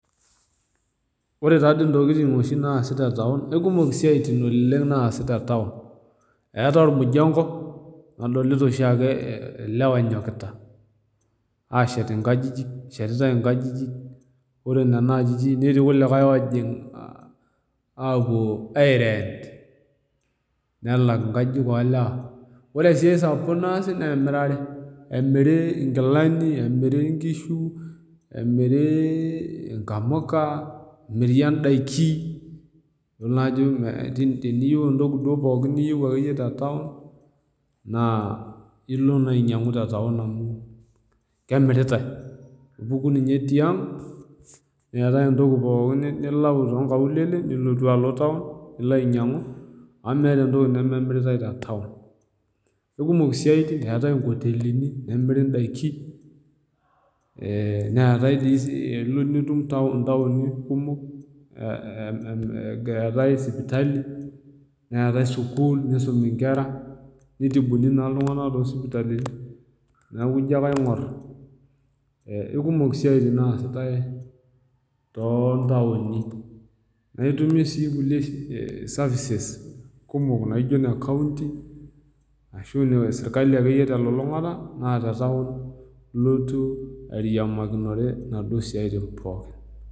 Ore taadei intokitin oshi naasi te taon, ekumok siaitin oshi naasi te taoun. Eatai olmujeng'o, nadolita oshiake ilewa enyokita, aashet inkajijik, eshetitai inkajijik, ore nena ajijik netii ilkulikai ogira aapuo airent, nelak inkajijik oo ilewa. Ore sii esapuko naasi naa emirare, emiri inkilani, emiri inkishu, emiri inkamuka, emiri indaiki, idol naa ajo teniyou entoki pooki ake iyie niyou te taun naa ilo naa ainyang'u te taun amu kemiritai. Ipuku ninye tiang', neatai entoki pookin niatau too inkaulele, nilotu alo taun, nilo ainyang'u amu meatai entoki nememiritai te taun. Ekumok isiaitin, ekeatai inkotelini, nemiri indaiki , neatai dei ilo nitum intauni kumok, eatai sipitali, neatai sukuul, neisomie inkera, neitibuni naa iltung'ana too isipitalini, neaku ijo ake aing'or, ekumok isiaitin naasitai too itauni. Naa itumie sii kulie services kumok naijo ine kaunty, ashu ake iyie ine serkali te elulung'ata, naa te taoun ilotu airiaakinare inaduo siaitin pookin.